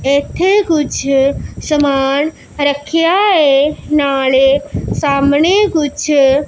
ਇੱਥੇ ਕੁਝ ਸਮਾਨ ਰੱਖਿਆ ਏ ਨਾਲੇ ਸਾਹਮਣੇ ਕੁਝ--